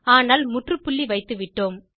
ஆனால் முற்றுப்புள்ளி வைத்துவிட்டோம்